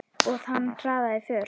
Og hann hraðaði för.